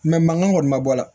mankan kɔni ma bɔ a la